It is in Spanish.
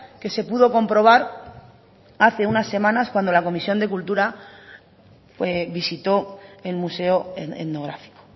que se pudo comprobar hace unas semanas cuando la comisión de cultura visitó el museo etnográfico